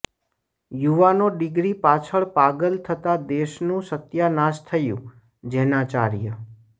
યુવાનો ડિગ્રી પાછળ પાગલ થતાં દેશનું સત્યાનાશ થયું ઃ જૈનાચાર્ય